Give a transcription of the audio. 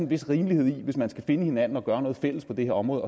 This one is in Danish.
vis rimelighed hvis man skal finde hinanden og gøre noget fælles på det her område